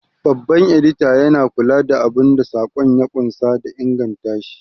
Babban Edita yana kula da abun da saƙon ya ƙunsa da ingantashi.